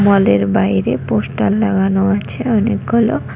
মল -এর বাইরে পোস্টার লাগানো আছে অনেকগুলো।